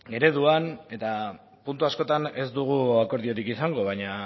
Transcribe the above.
ereduan eta puntu askotan ez dugu akordiorik izango baina